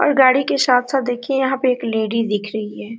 और गाड़ी के साथ-साथ देखिए यहां पे एक लेडिज दिख रही है।